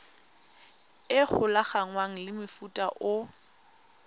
e golaganngwang le mofuta o